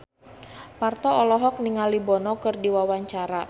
Parto olohok ningali Bono keur diwawancara